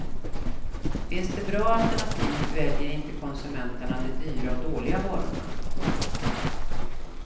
Finns det bra alternativ väljer inte konsumenten de dyra och dåliga varorna.